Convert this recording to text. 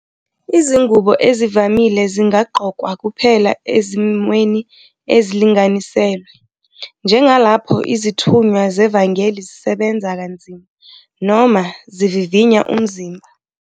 Izingubo ezivamile zingagqokwa kuphela ezimweni ezilinganiselwe, njengalapho izithunywa zevangeli zisebenza kanzima noma zivivinya umzimba.